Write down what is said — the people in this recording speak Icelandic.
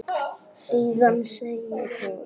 Síðan segir hún